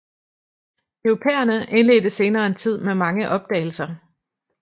Europæerne indledte senere en tid med mange opdagelser